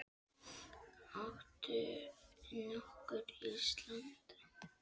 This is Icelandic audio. Áttu nokkuð Ísland?